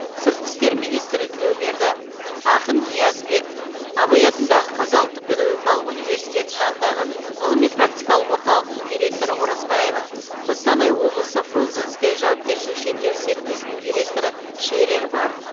сыртқы істер министрі тілеуберді ақын ниязбек абай атындағы қазақ ұлттық педагогикалық университеті жанындағы ғылыми практикалық орталықтың директоры оразбаева қостанай облысы фрунзенское жауапкершілігі шектеулі серіктесінің директоры шерер бар